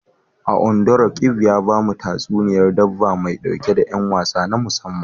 A Ondo, Roqeeb, bamu tatsuniyar dabba mai ɗauke da y'an wasa na musamman.